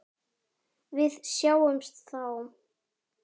Við sjáumst þá!